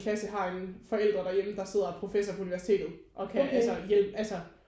Klasse har en forældre derhjemme der sidder og er professor på universitetet og kan altså hjælpe altså